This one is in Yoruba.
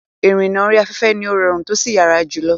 Ìrìnnà orí afẹ́fẹ́ ni ó rọrùn tósì yára jùlọ.